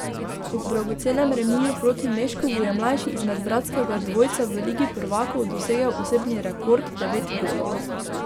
Ob dragocenem remiju proti Meškovu je mlajši izmed bratskega dvojca v ligi prvakov dosegel osebni rekord, devet golov.